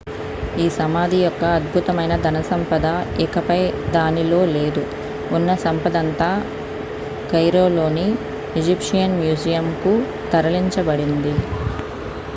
ఈ సమాధి యొక్క అద్భుతమైన ధన సంపద ఇకపై దానిలో లేదు ఉన్న సంపదంతా cairoలోని egyptian museumకు తరలించబడింది